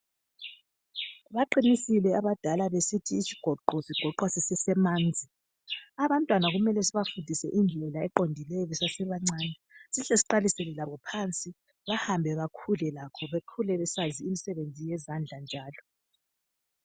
Baqinisile abadala besithi isigoqo sigoqwa sisesemanzi abantwana belesibafundise indlela eqondileyo besesse bancane sihle sibafundise bakhule lakho bakhule besazi imisebenzi yezandla njalo